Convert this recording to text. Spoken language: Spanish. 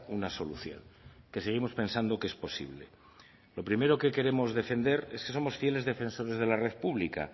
una solución que seguimos pensando que es posible lo primero que queremos defender es que somos fieles defensores de la red pública